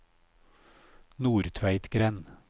Nordtveitgrend